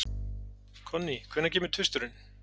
Konný, hvenær kemur tvisturinn?